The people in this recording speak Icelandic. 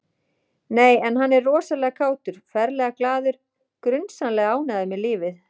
Nei, en hann er rosalega kátur, ferlega glaður, grunsamlega ánægður með lífið